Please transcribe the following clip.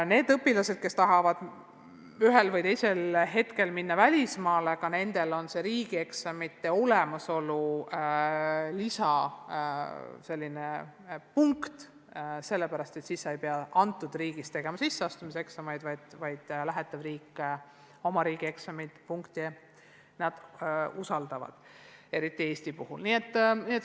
Ka neile õpilastele, kes tahavad ühel või teisel hetkel minna välismaale, on riigieksamite tulemused vajalikud, sest siis ei pea nad teises riigis sisseastumiseksameid tegema – usaldatakse lähetava riigi eksamite punkte, eriti Eesti puhul.